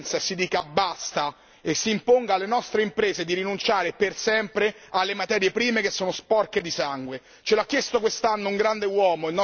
È ora che da parte nostra ci sia coerenza e si dica basta e si imponga alle nostre imprese di rinunciare per sempre alle materie prime che sono sporche di sangue.